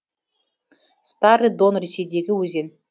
старый дон ресейдегі өзен